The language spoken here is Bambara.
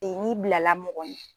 n'i bilala mɔgɔ ɲɛ